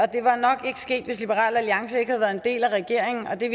det var nok ikke sket hvis liberal alliance ikke havde været en del af regeringen det